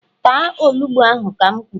Taa onugbu ahu ka m kwuru!